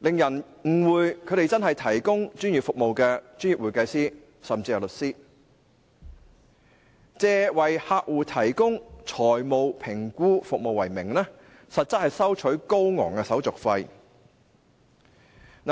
令人誤會他們真的是提供專業服務的專業會計師，甚至是律師，以為客戶提供財務評估服務為名，收取高昂的手續費為實。